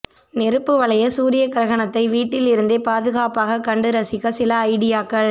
நெருப்பு வளைய சூரிய கிரகணத்தை வீட்டில் இருந்தே பாதுகாப்பாக கண்டு ரசிக்க சில ஐடியாக்கள்